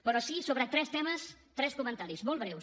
però sí sobre tres temes tres comentaris molt breus